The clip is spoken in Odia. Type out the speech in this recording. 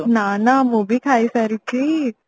ନା ନା ମୁଁ ବି ଖାଇ ସାରିଛି